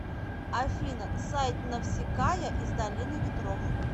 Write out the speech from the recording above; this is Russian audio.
афина сайт навсикая из долины ветров